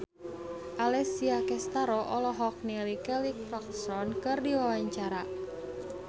Alessia Cestaro olohok ningali Kelly Clarkson keur diwawancara